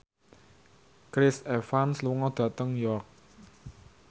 Chris Evans lunga dhateng York